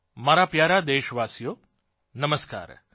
મારા પ્યારા દેશવાસીઓ નમસ્કાર પ્રણામ